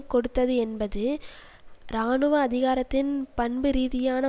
கொடுத்ததுஎன்பது இராணுவ அதிகாரத்தின் பண்புரீதியான